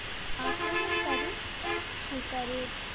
আক্রমণকারী শিকারের